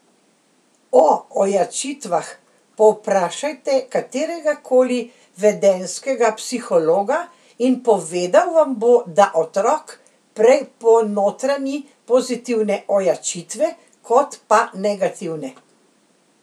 O ojačitvah povprašajte katerega koli vedenjskega psihologa in povedal vam bo, da otrok prej ponotranji pozitivne ojačitve kot pa negativne.